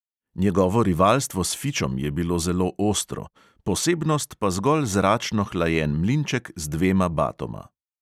Njegovo rivalstvo s fičom je bilo zelo ostro, posebnost pa zgolj zračno hlajen mlinček z dvema batoma.